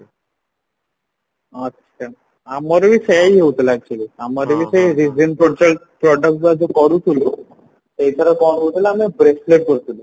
ଆଚ୍ଛା ଅମାର ବି ସେଇଆ ହିଁ ହଉଥିଲା actually ଆମର ବୋ ସେଇ product ଯୋଉ କରୁଥିଲୁ ସେଇଥିରେ କଣ ହଉଥିଲା ନାଁ bracelet କରୁଥିଲୁ